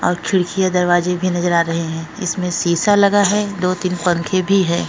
और खिड़कियां दरवाजे भी नजर आ रहे हैं। इसमें शीशा लगा है। दो तीन पंखे भी है।